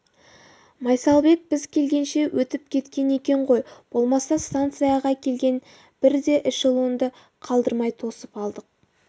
майсалбек біз келгенше өтіп кеткен екен ғой болмаса станцияға келген бір де эшелонды қалдырмай тосып алдық